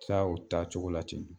Tila o taacogo la ten